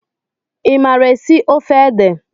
I maara esi ofe ede?